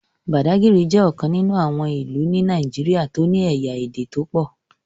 Bàdágìrì jẹ́ ọ̀kan nínú àwọn ìlú ni Nàìjíríà tó ní ẹ̀yà Ède tó pọ̀.